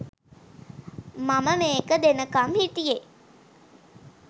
මම මේක දෙනකම් හිටියේ